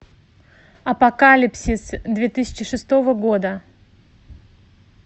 апокалипсис две тысячи шестого года